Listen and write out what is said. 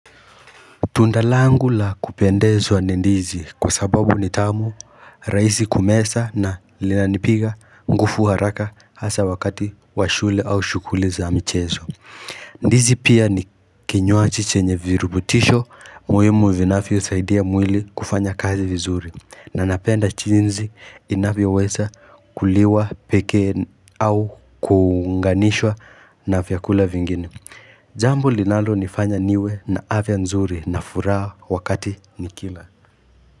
Tunda langu la kupendezwa ni ndizi kwa sababu ni tamu rahisi kumeza na linanipiga nguvu haraka hasa wakati wa shule au shughuli za michezo. Ndizi pia ni kinywaji chenye virubutisho muhimu vinavyo saidia mwili kufanya kazi vizuri na napenda jinsi inabyoweza kuliwa pekee au kuunganishwa na vyakula vingine. Jambu linalo nifanya niwe na afya nzuri na furaha wakati nikila.